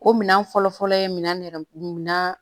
O minɛn fɔlɔ fɔlɔ ye min nɛrɛ min